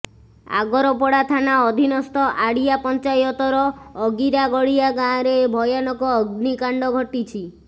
ଆଗରପଡ଼ା ଥାନା ଅଧୀନସ୍ଥ ଆଡିଆ ପଂଚାୟତର ଅଗିରାଗଡିଆ ଗାଁରେ ଭୟାନକ ଅଗ୍ନିକାଣ୍ଡ ଘଟିଛି